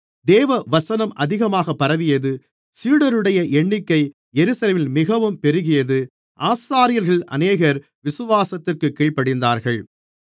தேவவசனம் அதிகமாகப் பரவியது சீடருடைய எண்ணிக்கை எருசலேமில் மிகவும் பெருகியது ஆசாரியர்களில் அநேகர் விசுவாசத்திற்குக் கீழ்ப்படிந்தார்கள்